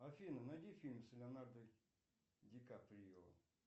афина найди фильмы с леонардо ди каприо